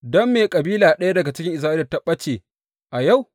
Don me kabila ɗaya daga Isra’ila za tă ɓace a yau?